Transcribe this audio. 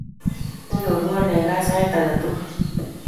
Inyorwon eng' kaa sait ake tukul